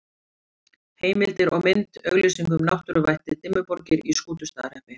Heimildir og mynd: Auglýsing um náttúruvættið Dimmuborgir í Skútustaðahreppi.